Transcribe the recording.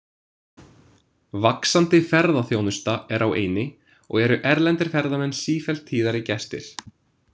Vaxandi ferðaþjónusta er á eynni og eru erlendir ferðamenn sífellt tíðari gestir.